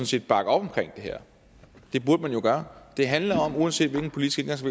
set bakke op om det her det burde man jo gøre det handler om uanset hvilken politisk